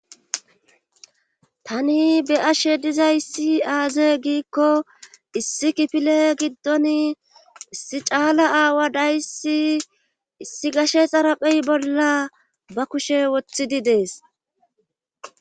tani be ashe dizayssi aaze giikko issi kifile giddon issi caala aawa dayssi issi gashe xaraphey bolla ba kushe wothidi dees